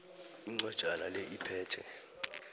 incwajana le iphethe